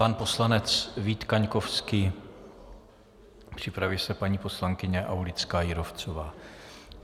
Pan poslanec Vít Kaňkovský, připraví se paní poslankyně Aulická Jírovcová.